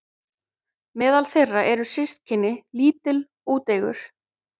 Meðal þeirra eru systkini- lítill, úteygur